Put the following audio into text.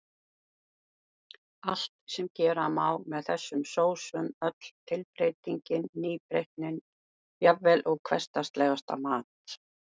Allt sem gera má með þessum sósum, öll tilbreytingin, nýbreytnin, jafnvel úr hversdagslegasta mat.